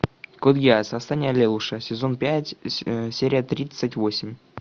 код гиас восстание лелуша сезон пять серия тридцать восемь